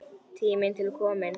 Tími til kominn.